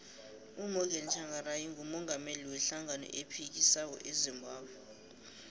umorgan tshangari ngumungameli we hlangano ephikisako ezimbabwe